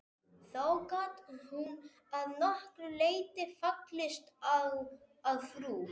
Þó gat hún að nokkru leyti fallist á að frú